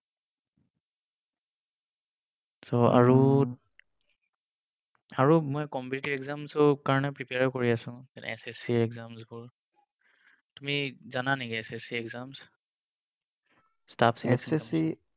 So আৰু আৰু মই competitive exam ৰ কাৰণে prepare ও কৰি আছো যেনে SSC exams বোৰ। তুমি জানা নেকি SSC exams?